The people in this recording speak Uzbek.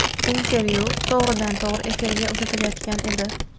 Intervyu to‘g‘ridan-to‘g‘ri efirga uzatilayotgan edi.